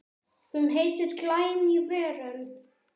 Hún heitir Glæný veröld.